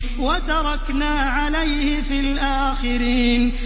وَتَرَكْنَا عَلَيْهِ فِي الْآخِرِينَ